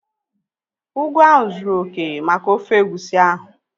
Ugu ahụ zụrụ oké maka ofe egusi ahu